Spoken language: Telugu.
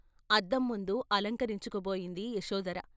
అద్దం ముందు అలంకరించుకోబోయింది యశోధర.